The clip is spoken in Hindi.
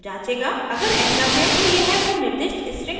अगर ऐसा है तो यह वो निर्दिष्ट string प्रिंट करेगा